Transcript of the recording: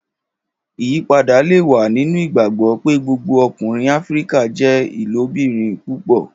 Iyipada le wa ninu igbagbọ pe gbogbo ọkunrin Afirika jẹ ilobirin púpọ.